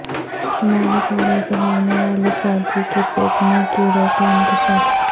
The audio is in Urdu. شمالی کوریا سے بھاگنے والے فوجی کے پیٹ میں کیڑ وں کا انکشاف